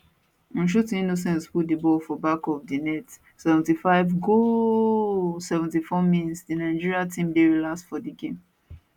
nshuti innocent put di ball for back of di net 75 goooaaaaallll 74mins di nigeria team dey relaxed for dis game